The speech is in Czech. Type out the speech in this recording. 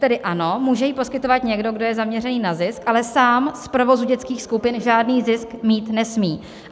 Tedy ano, může ji poskytovat někdo, kdo je zaměřený na zisk, ale sám z provozu dětských skupin žádný zisk mít nesmí.